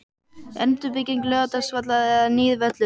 Endurbygging Laugardalsvallar eða nýr völlur?